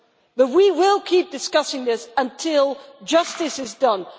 But we will keep discussing this until justice is done.